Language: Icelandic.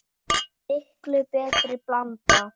Miklu betri blanda?